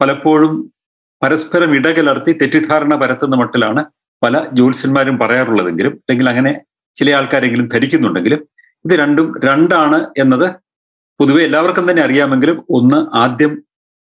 പലപ്പോഴും പരസ്പരം ഇടകലർത്തി തെറ്റിദ്ധാരണ പരത്തുന്ന മട്ടിലാണ് പല ജ്യോത്സ്യന്മാരും പറയാറുള്ളതെങ്കിലും എങ്കിൽ അങ്ങനെ ചിലയാൾക്കാരെങ്കിലും ധരിക്കുന്നുണ്ടെങ്കിലും ഇത് രണ്ടും രണ്ടാണ് എന്നത് പൊതുവേ എല്ലാവർക്കും തന്നെ അറിയാമെങ്കിലും ഒന്ന് ആദ്യം